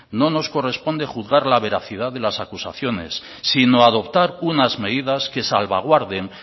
no nos corresponde juzgar la veracidad de las acusaciones sino adoptar unas medidas que salvaguarden